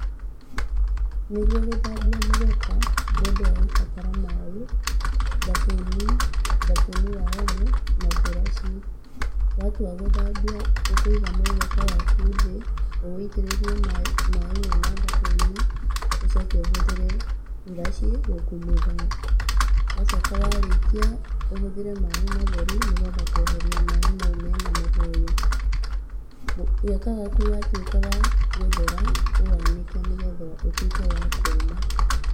Nĩguo gũthambia mũgeka, mũndũ agũbatara maaĩ, thabuni, thabuni wa omo na buraci. Watua gũthambia, ũkũiga mũgeka waku thĩ, ũwũitĩrĩrie maaĩ mena thabuni ũcoke ũhũthĩre buraci gũkumũtha. Wacoka warĩkia ũhũthĩre maaĩ matheru nĩgetha kweheria maaĩ mau mena mũhũyũ. Mũgeka waku wa tuĩka wa gũthera ũwanĩke nĩgetha ũtuĩke wa kũma.